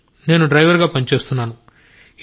నేను డ్రైవర్గా పని చేస్తాను